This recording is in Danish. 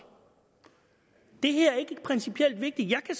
det her er ikke principielt vigtigt jeg kan